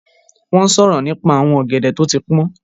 Wọ́n ń sọ̀rọ̀ nípa àwọn ọ̀gẹ̀dẹ̀ tó ti pọ́n